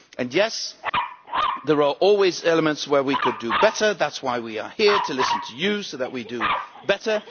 Yes, there are always elements where we could do better, that is why we are here to listen to you, so that we can do better.